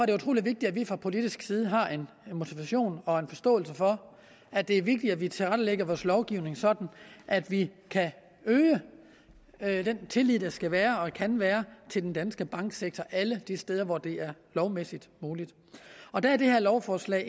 det utrolig vigtigt at vi fra politisk side har en motivation og en forståelse for at det er vigtigt at vi tilrettelægger vores lovgivning sådan at vi kan øge den tillid der skal være og kan være til den danske banksektor alle de steder hvor det er lovmæssigt muligt og der er det her lovforslag